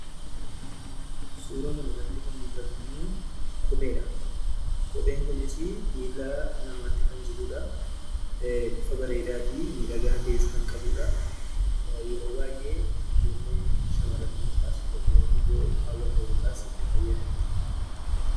Suuraa kanarratti kan mul'atummoo kopheedha. Kopheen kunis miila namaatti kan jirudha. Bifa bareedaa fi miidhagaa ta'ee kan qabudha. Yeroo baay'ee shamarrantu kaawwata yookaan itti fayyadama.